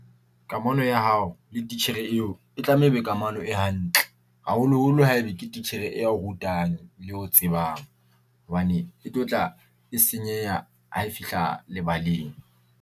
Kamano ya hao le titjhere eo e tlameha e be kamano e hantle haholo-holo haebe ke titjhere eo rutang, eo tsebang. Hobane e tlotla e senyeha ha e fihla lebaleng.